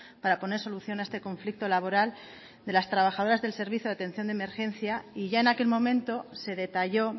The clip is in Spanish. para poner solución a este conflicto laboral de las trabajadoras del servicio de atención de emergencia y ya en aquel momento se detalló